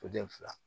Den fila